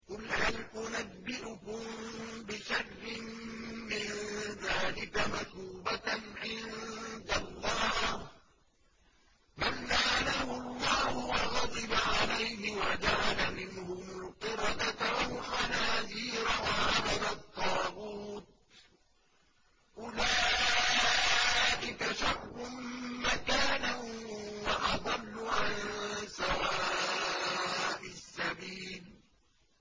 قُلْ هَلْ أُنَبِّئُكُم بِشَرٍّ مِّن ذَٰلِكَ مَثُوبَةً عِندَ اللَّهِ ۚ مَن لَّعَنَهُ اللَّهُ وَغَضِبَ عَلَيْهِ وَجَعَلَ مِنْهُمُ الْقِرَدَةَ وَالْخَنَازِيرَ وَعَبَدَ الطَّاغُوتَ ۚ أُولَٰئِكَ شَرٌّ مَّكَانًا وَأَضَلُّ عَن سَوَاءِ السَّبِيلِ